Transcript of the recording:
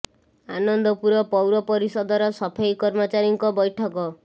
ଆନନ୍ଦପୁର ପୌରପରିଷ ଦ ର ସଫେଇ କର୍ମଚାରୀ ଙ୍କ ବୈଠକ